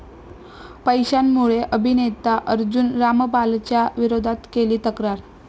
पैशांमुळे अभिनेता अर्जुन रामपालच्या विरोधात केली तक्रार